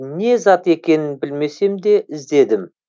не зат екенін білмесем де іздедім